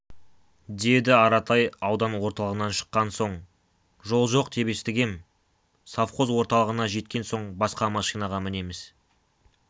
деді аратай аудан орталығынан шыққан соң жол жоқ деп естігем совхоз орталығына жеткен соң басқа машинаға мінеміз